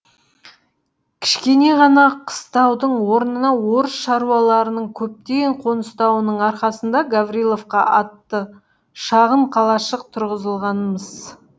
кішкене ғана қыстаудың орнына орыс шаруаларының көптен қоныстануының арқасында гавриловка атты шағын қалашық тұрғызылған мыс